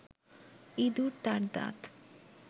ইঁদুর তার দাঁত